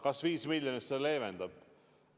Kas 5 miljonit olukorda leevendab?